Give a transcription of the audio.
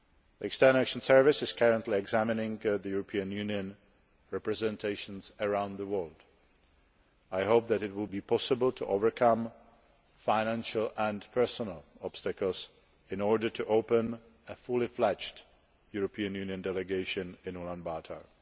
The External Action Service is currently examining the European Union representations around the world. I hope that it will be possible to overcome financial and personnel obstacles in order to open a fully fledged European Union Delegation in Ulaanbaatar.